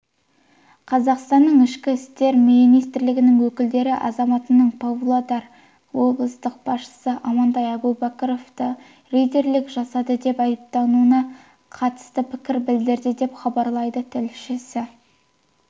қазақстанның ішкі істер министрлігінің өкілдері азаматының павлодар облыстық басшысы амантай әубәкіровті рейдерлік жасады деп айыптауына қатысты пікір білдірді деп хабарлайды тілшісі